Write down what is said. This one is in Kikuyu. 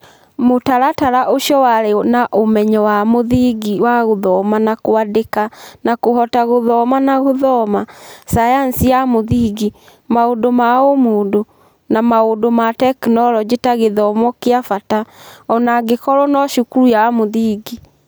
Mũtaratara ũcio warĩ na ũmenyo wa mũthingi wa gũthoma na kwandĩka na kũhota gũthoma na gũthoma, sayansi ya mũthingi, maũndũ ma ũmũndũ, na maũndũ ma tekinolonjĩ ta gĩthomo kĩa bata - o na angĩkorũo no cukuru ya mũthingi.